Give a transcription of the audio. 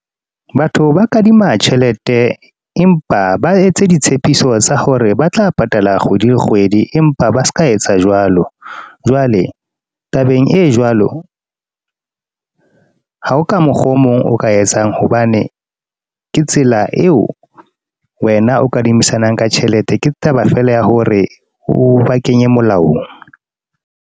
Batho ba kadima tjhelete. Empa ba etse ditshepiso tsa hore ba tla patala kgwedi le kgwedi. Empa ba seka etsa jwalo. Jwale, tabeng e jwalo, ha o ka mokgwa o mong o ka etsang. Hobane ke tsela eo wena o kadimisanang ka tjhelete. Ke taba feela ya hore o ba kenye molaong.